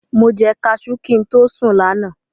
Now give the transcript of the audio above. Mo jẹ kaṣú kí n tó sùn lánàá.